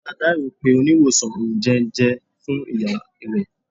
Mr Taiwo pe oniwosan onjẹunjẹ fun iya rẹ.